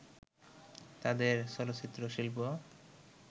তাদের চলচ্চিত্রশিল্প